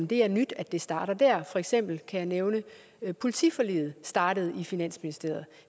det er nyt at det starter der for eksempel kan jeg nævne at politiforliget startede i finansministeriet